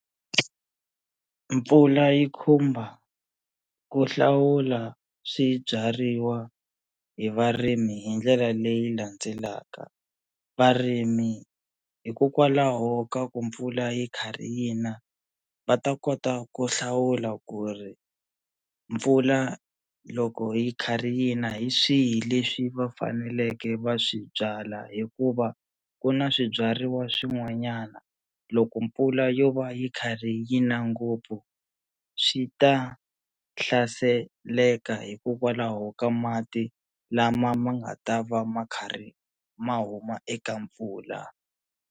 Mpfula yi khumba ku hlawula swibyariwa hi varimi hi ndlela leyi landzelaka varimi hikokwalaho ka ku mpfula yi karhi yi na va ta kota ku hlawula ku ri mpfula loko yi karhi yi na hi swihi leswi va faneleke va swi byala hikuva ku na swibyariwa swin'wanyana loko mpfula yo va yi kha yi na ngopfu swi ta hlaseleka hikokwalaho ka mati lama ma nga ta va ma karhi ma huma eka mpfula.